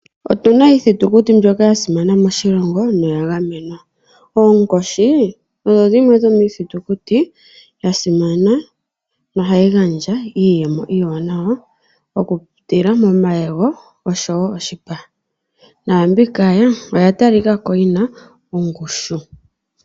Otuna iithitikuti mbyoka ya simana moshilongo noya gamenwa. Oonkoshi odho dhimwe dhomiithitukuti ya simana no hayi gandja iiyemo iiwanawa oku pitila momayego osho woo moshipa. Naambika oya tali kako yina ongushu.